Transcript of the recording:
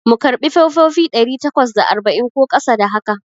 Mu karɓi fefofi ɗari takwas da arba'in ko ƙasa da haka?